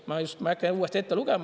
Ma ei hakka uuesti ette lugema.